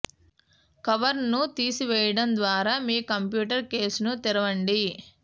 కవర్ను తీసివేయడం ద్వారా మీ కంప్యూటర్ కేసును తెరవండి